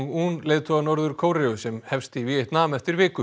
un leiðtoga Norður Kóreu sem hefst í Víetnam eftir viku